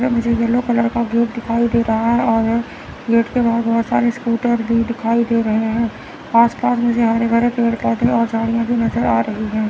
ये मुझे yellow colour का गेट दिखाई दे रहा है और गेट के बाद बहुत सारे स्कूटर भी दिखाई दे रहे हैं। आस पास मुझे हरे भरे पेड़ पौधे और झाड़ियां नज़र आ रही है।